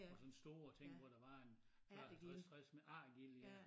Og sådan store ting hvor der var en der var 50 60 ærtegilde ja